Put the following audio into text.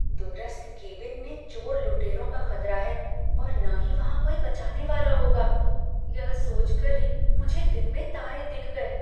दूरस्थ केबिन में चोर लुटेरों का ख़तरा है और न ही वहाँ कोई बचाने वाला होगा, यह सोच कर ही मुझे दिन में तारे दिख गए।